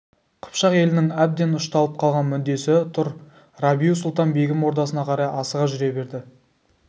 қыпшақ елінің әбден ұшталып қалған мүддесі тұр рабиу-сұлтан-бегім ордасына қарай асыға жүре берді